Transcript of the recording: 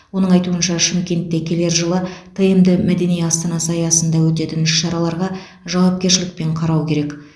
оның айтуынша шымкентте келер жылы тмд мәдени астанасы аясында өтетін іс шараларға жауапкершілікпен қарау керек